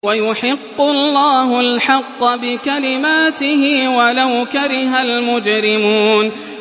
وَيُحِقُّ اللَّهُ الْحَقَّ بِكَلِمَاتِهِ وَلَوْ كَرِهَ الْمُجْرِمُونَ